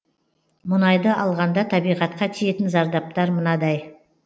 мұнайды алғанда табиғатқа тиетін зардаптар мынадай